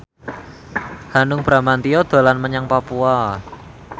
Hanung Bramantyo dolan menyang Papua